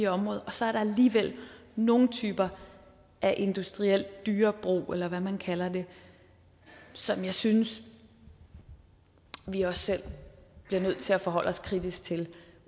område og så er der alligevel nogle typer af industriel dyrebrug eller hvad man kalder det som jeg synes vi også selv bliver nødt til at forholde os kritisk til